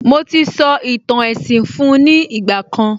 Mo ti sọ ìtàn èsìn fun ní ìgbà kan